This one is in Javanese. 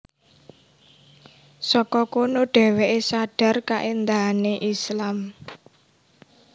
Saka kono dheweke sadhar kaendahane Islam